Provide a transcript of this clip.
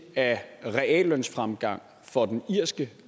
af reallønsfremgang for den irske